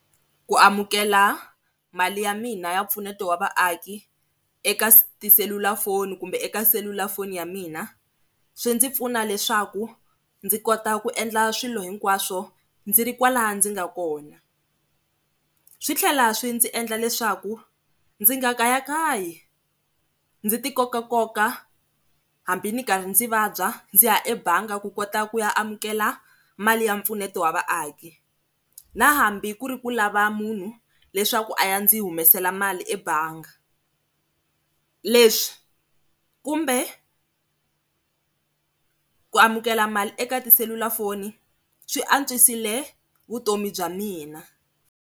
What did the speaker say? Ku amukela mali ya mina ya mpfuneto wa vaaki eka se tiselulafoni kumbe eka selulafoni ya mina swi ndzi pfuna leswaku ndzi kota ku endla swilo hinkwaswo ndzi ri kwala ndzi nga kona. Swi tlhela swi ndzi endla leswaku ndzi nga kayakayi ndzi ti koka nkoka hambi ndzi ri karhi ndzi vabya ndzi ya ebangi ku kota ku ya amukela mali ya mpfuneto wa vaaki na hambi ku ri ku lava munhu leswaku a ya ndzi humesela mali ebangi, leswi kumbe ku amukela mali eka tiselulafoni swi antswisile vutomi bya mina.